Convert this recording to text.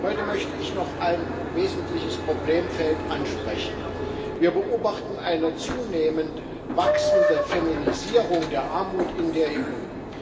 Heute möchte ich noch ein wesentliches Problemfeld ansprechen Wir beobachten eine zunehmend wachsende Feminisierung der Armut in der EU.